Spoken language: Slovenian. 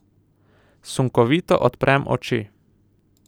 Sunkovito odprem oči.